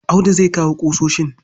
Audu zai kawo ƙusoshin.